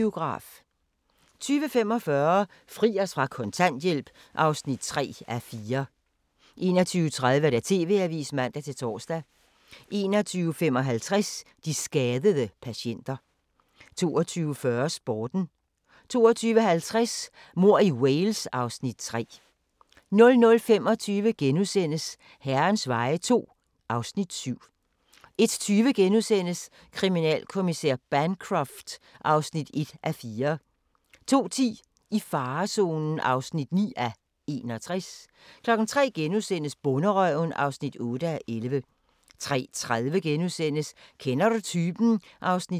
20:45: Fri os fra kontanthjælp (3:4) 21:30: TV-avisen (man-tor) 21:55: De skadede patienter 22:40: Sporten 22:50: Mord i Wales (Afs. 3) 00:25: Herrens veje II (Afs. 7)* 01:20: Kriminalinspektør Bancroft (1:4)* 02:10: I farezonen (9:61) 03:00: Bonderøven (8:11)* 03:30: Kender du typen? (2:9)*